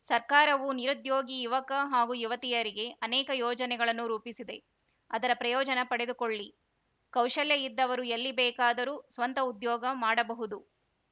ಸರ್ಕಾರವು ನಿರುದ್ಯೋಗಿ ಯುವಕ ಹಾಗೂ ಯುವತಿಯರಿಗೆ ಅನೇಕ ಯೋಜನೆಗಳನ್ನು ರೂಪಿಸಿದೆ ಅದರ ಪ್ರಯೋಜನ ಪಡೆದುಕೊಳ್ಳಿ ಕೌಶಲ್ಯ ಇದ್ದವರು ಎಲ್ಲಿ ಬೇಕಾದರು ಸ್ವಂತ ಉದ್ಯೋಗ ಮಾಡಬಹುದು